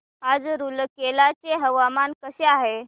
आज रूरकेला चे हवामान कसे आहे